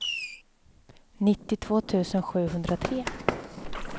nittiotvå tusen sjuhundratre